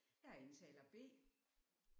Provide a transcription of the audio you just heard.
Jeg er indtaler B